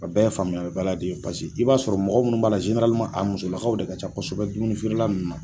A bɛɛ ye faamuyali baliya de ye pase i b'a sɔrɔ mɔgɔ munnu b'a la a muso lakaw de ka ca kosɛbɛ dumuni feere la nun na.